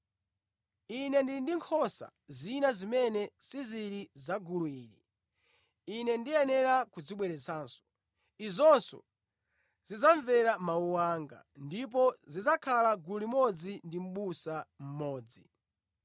Ine ndili ndi nkhosa zina zimene sizili za gulu ili. Ine ndiyenera kuzibweretsanso. Izonso zidzamvera mawu anga, ndipo zidzakhala gulu limodzi ndi mʼbusa mmodzi.